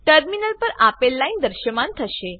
terminal પર આપેલ line દ્રશ્યમાન થશે